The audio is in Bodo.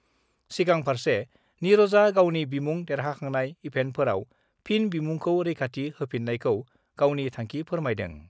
सिगांफार्से निरजआ गावनि बिमुं देरहाखांनाय इभेन्टफोराव फिन बिमुंखौ रैखाथि होफिन्नायखौ गावनि थांखि फोरमायदों।